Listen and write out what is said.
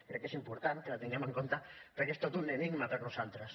crec que és important que la tinguem en compte perquè és tot un enigma per a nosaltres